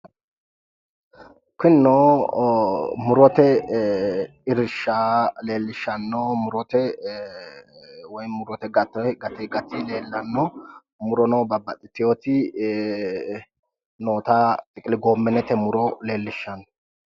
Kunino murote irsha leellishshanno. Murono woyi murote gati leellanno. Murono babbaxxitiwoti noota xiqili goommenete muro leellishshanno.